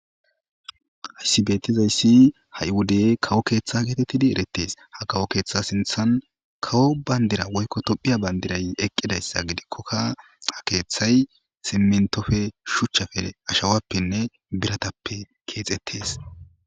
Hayissi qaase hayi wodde kawo kethe getetesi kawo ketha sinithani kawo banidira woyiko tophiya banidira oyikidayissa gidikoka kethayi siminitoni shoccetisi woyiko biratani kexetisi.